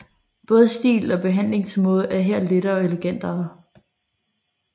Både stil og behandlingsmaade er her lettere og elegantere